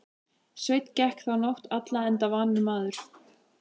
Sveinn gekk þá nótt alla enda vanur maður.